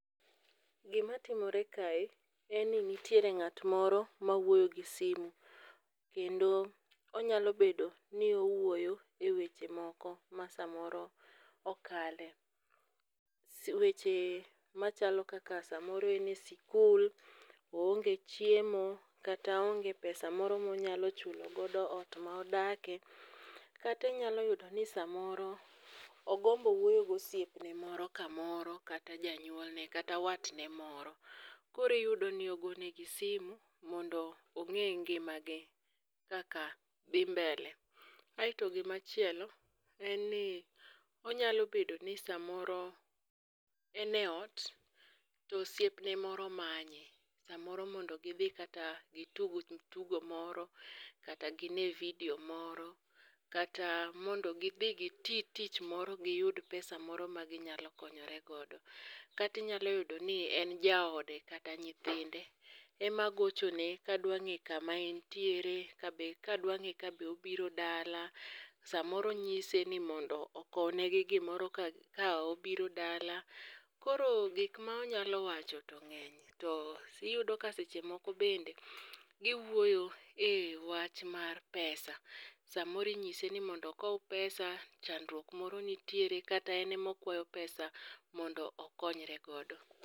Gima timore kae en ni nitiere ng'at moro mawuoyo gi simu, kendo onyalo bedo ni owuoyo e weche moko ma samoro okale. Weche ma chalo kaka samoro ene sikul, oonge chiemo, kata oonge pesa moro monyalo chulo godo ot ma odake. Kata inyalo yudo ni samoro ogombo wuoyo gosiepne kamoro kata janyuolne kata watne moro. Koriyudo ni ogonegi simu mondo ong'e ngima gi kaka dhi mbele. Aeto gimachielo, en ni onyalo bedo ni samoro eneot to osiepne moro manye. Samoro mondo gidhi kata gitug tugo moro, kata gine video moro, kata mondo gidhi giti tich moro giyud pesa moro ma ginyalo konyore godo. Katinyalo yudo ni en jaode kata nyithinde ema gochone kadwa ng'e kama entiere, kabe kadwa ng'e kabe obiro dala. Samoro onyise ni mondo okwne gi gimoro ka obiro dala. Koro gikma onyalo wacho to ng'eny, to iyudo ka seche moko bende giwuoyo e wach mar pesa. Samoro inyise ni mondo okow pesa chandruok moro nitie kata en emokwayo pesa mondo okonyre godo.